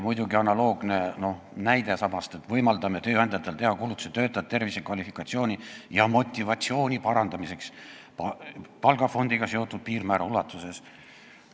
Analoogne näide: "Võimaldame tööandjatel teha kulutusi töötajate tervise, kvalifikatsiooni ja motivatsiooni parandamiseks palgafondiga seotud piirmäära ulatuses.